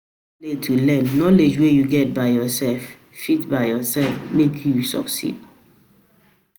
learn, knowledge wey you get by yourself fit by yourself fit make you succeed.